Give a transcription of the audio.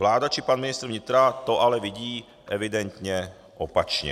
Vláda či pan ministr vnitra to ale vidí evidentně opačně.